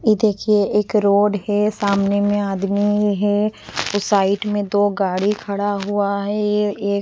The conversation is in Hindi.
ये देखिए एक रोड है सामने में आदमी है उस साइड में दो गाड़ी खड़ा हुआ है ए एक --